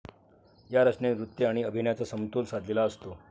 या रचनेत नृत्त्य आणि अभिनयचा समतोल साधलेला आसतो.